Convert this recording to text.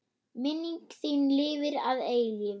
Minning þín lifir að eilífu.